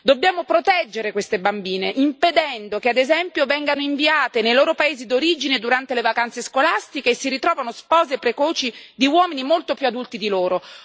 Dobbiamo proteggere queste bambine, impedendo che, ad esempio, vengano inviate nei loro paesi d'origine durante le vacanze scolastiche e si ritrovino spose precoci di uomini molto più adulti di loro.